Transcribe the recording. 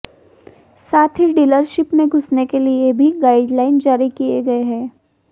साथ ही डीलरशिप में घुसने के लिए भी गाइडलाइन जारी किये गए है